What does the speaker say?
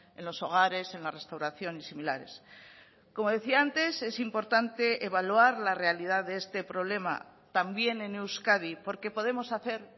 en los hogares en la restauración y similares como decía antes es importante evaluar la realidad de este problema también en euskadi porque podemos hacer